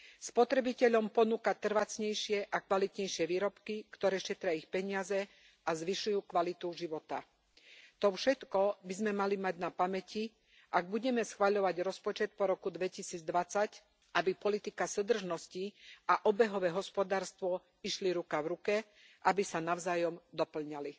Spotrebiteľom ponúka trvácnejšie a kvalitnejšie výrobky, ktoré šetria ich peniaze a zvyšujú kvalitu života. To všetko by sme mali mať na pamäti, ak budeme schvaľovať rozpočet po roku 2020, aby politika súdržnosti a obehové hospodárstvo išli ruka v ruke, aby sa navzájom dopĺňali.